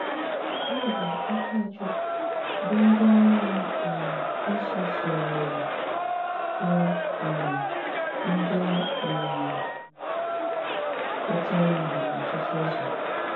Ábụ́ Ákáchúkwú bụ́ ndí Múọ́ um Nsọ́ sụ́ghárírí bụ́ um ndí um pụ́tárá íhé n’ọ́tụ́tụ ụ́zọ́.